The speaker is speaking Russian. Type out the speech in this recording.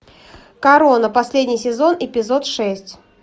корона последний сезон эпизод шесть